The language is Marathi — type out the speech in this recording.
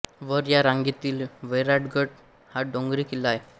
वर या रांगेतील वैराटगड हा डोंगरी किल्ला आहे